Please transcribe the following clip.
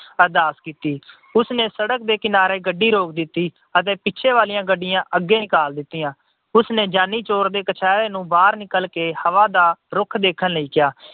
ਅਰਦਾਸ ਕੀਤੀ। ਉਸਨੇ ਸੜਕ ਦੇ ਕਿਨਾਰੇ ਗੱਡੀ ਰੋਕ ਦਿੱਤੀ ਅਤੇ ਪਿੱਛੇ ਵਾਲੀਆਂ ਗੱਡੀਆਂ ਅੱਗੇ ਨਿਕਾਲ ਦਿੱਤੀਆਂ। ਉਸਨੇ ਜਾਨੀ ਚੋਰ ਦੇ ਕਛਹਿਰੇ ਨੂੰ ਬਾਹਰ ਨਿਕਲ ਕੇ ਹਵਾ ਦਾ ਰੁਖ ਦੇਖਣ ਲਈ ਕਿਹਾ।